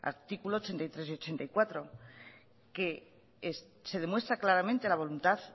artículos ochenta y tres y ochenta y cuatro que se demuestra claramente la voluntad